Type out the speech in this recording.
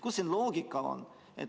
Kus siin loogika on?